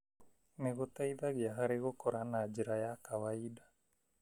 nĩ gũteithagia harĩ gũkũra na njĩra ya kwaida.